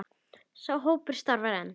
Sá hópur starfar enn.